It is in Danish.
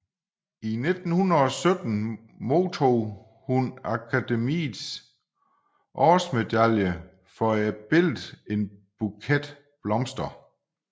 I 1917 modtog hun Akademiets Årsmedalje for billedet En Buket Blomster